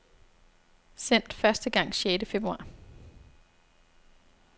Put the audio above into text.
Sendt første gang sjette februar.